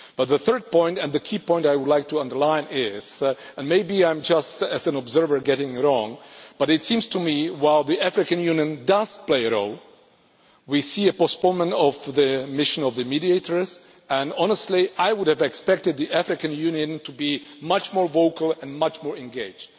The third point and the key point I would like to underline is, and maybe I am just an observer getting it wrong, but it seems to me while the African Union does play a role, we see that the mediators' mission has been postponed, and honestly I would have expected the African Union to be much more vocal and much more engaged.